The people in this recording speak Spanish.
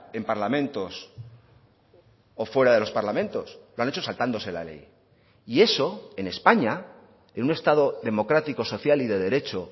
en parlamentos o fuera de los parlamentos lo han hecho saltándose la ley y eso en españa en un estado democrático social y de derecho